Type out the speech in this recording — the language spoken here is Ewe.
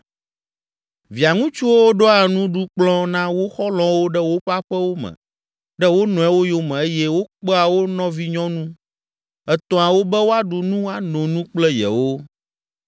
Via ŋutsuwo ɖoa nuɖukplɔ̃ na wo xɔlɔ̃wo ɖe woƒe aƒewo me ɖe wo nɔewo yome eye wokpea wo nɔvinyɔnu etɔ̃awo be woaɖu nu ano nu kple yewo.